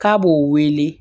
K'a b'o wele